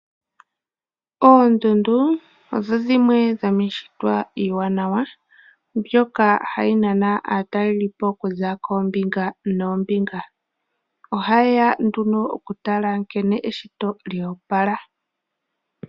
Oondundu odho dhimwe dho miishitwa iiwanawa, mbyoka hayi nana aatalelipo okuza koombinga noo mbinga. Oha yeya nduno oku tala nkene eshito lya opala.